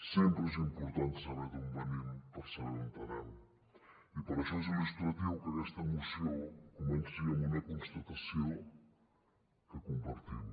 sempre és important saber d’on venim per saber on anem i per això és il·lustratiu que aquesta moció comenci amb una constatació que compartim